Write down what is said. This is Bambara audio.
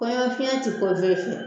Kɔɲɔfi tɛ fɛ